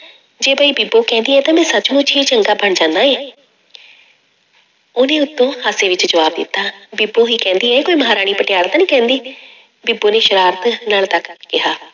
ਜੇ ਬਈ ਬੀਬੋ ਕਹਿੰਦੀ ਹੈ ਤਾਂ ਮੈਂ ਸੱਚ ਮੁੱਚ ਹੀ ਚੰਗਾ ਬਣ ਜਾਂਦਾ ਹੈ ਉਹਨੇ ਉੱਤੋਂ ਹਾਸੇ ਵਿੱਚ ਜਵਾਬ ਦਿੱਤਾ, ਬੀਬੋ ਹੀ ਕਹਿੰਦੀ ਹੈ ਕੋਈ ਮਹਾਰਾਣੀ ਪਟਿਆਲਾ ਤਾਂ ਨੀ ਕਹਿੰਦੀ ਬੀਬੋ ਨੇ ਸਰਾਰਤ ਨਾਲ ਤੱਕ ਕੇ ਕਿਹਾ।